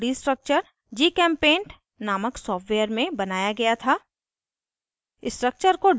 इस अणु का 2d structure gchempaint नामक सॉफ्टवेयर में बनाया गया था